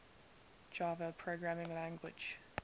java programming language